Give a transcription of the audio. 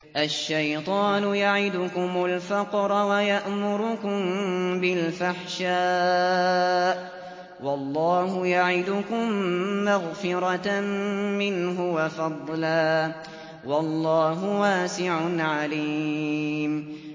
الشَّيْطَانُ يَعِدُكُمُ الْفَقْرَ وَيَأْمُرُكُم بِالْفَحْشَاءِ ۖ وَاللَّهُ يَعِدُكُم مَّغْفِرَةً مِّنْهُ وَفَضْلًا ۗ وَاللَّهُ وَاسِعٌ عَلِيمٌ